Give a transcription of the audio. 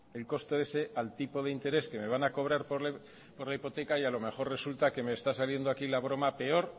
el coste ese al tipo de interés que me van a cobrar por la hipoteca y a lo mejor resulta que me está saliendo aquí la broma peor